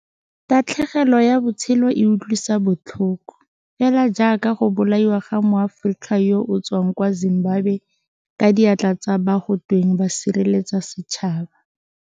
Tatlhegelo ya botshelo e utlwisa botlhoko, fela jaaka go bolaiwa ga Moaforika yo o tswang kwa Zimbabwe ka diatla tsa ba go tweng ba sireletsa setšhaba.